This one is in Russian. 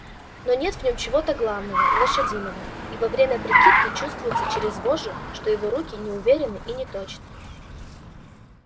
но нет в нём чего-то главного лошадиного и во время прикидки чувствуется через вожжи что его руки неуверенны и неточны